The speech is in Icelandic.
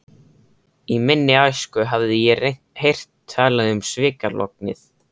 Í minni æsku hafði ég heyrt talað um svikalognið.